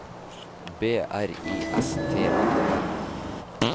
B R I S T O L